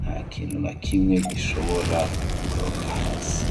nta kintu na kimwe gishobora gukoroka hasi.